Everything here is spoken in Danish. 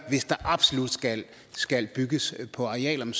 hvis der absolut skal skal bygges på arealerne